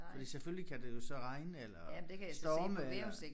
Fordi selvfølgelig kan det jo så regne eller storme eller